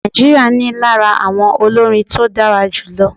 Nigeria ní lára àwọn olórin tó dára jù lọ.